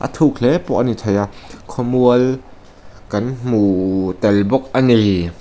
thuk hle pawh ani thei a khaw mual kan hmu tel bawk ani.